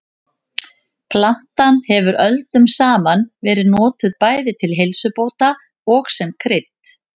Plantan hefur öldum saman verið notuð bæði til heilsubóta og sem krydd.